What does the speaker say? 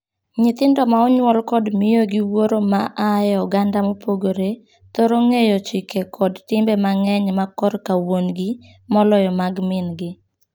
Nyithindo ma onyuol kod miyo gi wuoro ma aa e oganda mopogore thoro ng'eyo chike kod timbe mang'eny ma korka wuongi moloyo mag mingi.